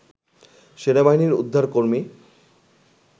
সেনাবাহিনীর উদ্ধার কর্মী